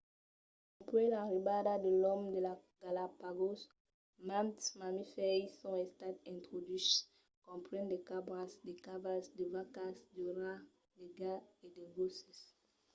dempuèi l'arribada de l'òme a las galápagos mantes mamifèrs i son estat introduches comprenent de cabras de cavals de vacas de rats de gats e de gosses